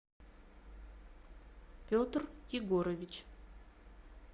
петр егорович